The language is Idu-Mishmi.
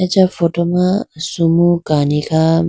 acha photo ma sumu kani kha.